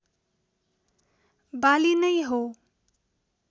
बाली नै हो